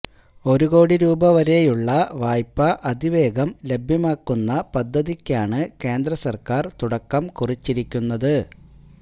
ഒരു കോടി രൂപ വരെയുളള വായ്പ അതിവേഗം ലഭ്യമാക്കുന്ന പദ്ധതിക്കാണ് കേന്ദ്രസര്ക്കാര് തുടക്കം കുറിച്ചിരിക്കുന്നത്